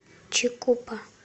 чикупа